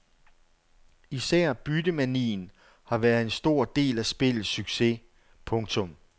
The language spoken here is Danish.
Især byttemanien har været en stor del af spillets succes. punktum